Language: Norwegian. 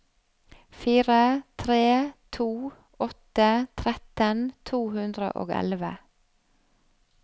fire tre to åtte tretten to hundre og elleve